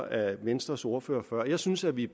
af venstres ordfører før jeg synes at vi i